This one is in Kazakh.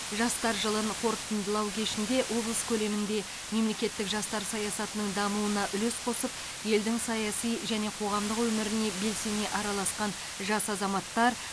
жастар жылын қорытындылау кешінде облыс көлемінде мемлекеттік жастар саясатының дамуына үлес қосып елдің саяси және қоғамдық өміріне белсене араласқан жас азаматтар